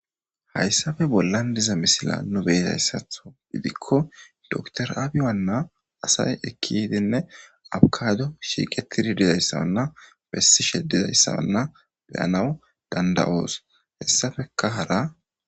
Hayysape bollan diza misila nu be7izayssatho gidikko dokter abiynna asay ekki yiidinne afkkaado shiiqettidi dizayssanne bessishe dizayssane be7anaw dandda7oos. Hessapekka hara